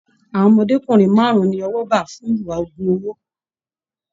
Àwọn ọmọdékunrin márùn ní ọwọ bá fún ìwà ogún owó.